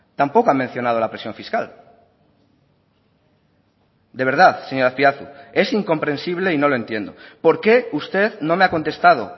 tampoco ha mencionado la presión fiscal de verdad señor azpiazu es incomprensible y no lo entiendo por qué usted no me ha contestado